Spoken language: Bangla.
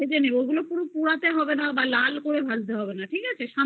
ভেজে নেবে পুড়াতে হবে না বা লাল দিয়ে ভাজতে হবে না বুঝলে